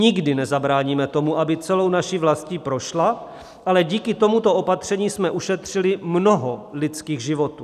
Nikdy nezabráníme tomu, aby celou naší vlastní prošla, ale díky tomuto opatření jsme ušetřili mnoho lidských životů.